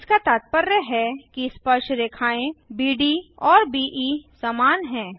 इसका तात्पर्य है कि स्पर्शरेखाएँ बीड औरBE समान हैं